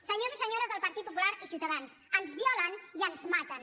senyors i senyores del partit popular i ciutadans ens violen i ens maten